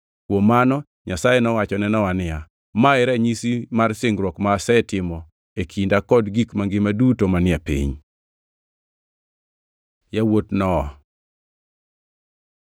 Kuom mano, Nyasaye nowacho ne Nowa niya, “Ma e ranyisi mar singruok ma asetimo e kinda kod gik mangima duto manie piny.” Yawuot Nowa